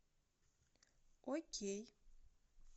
окей